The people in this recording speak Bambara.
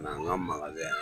A n'an ka magasɛn